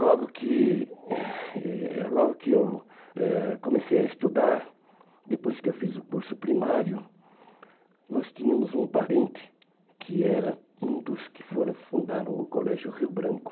Logo que eu logo que eu eh comecei a estudar, depois que eu fiz o curso primário, nós tínhamos um parente que era um dos que for fundaram o Colégio Rio Branco.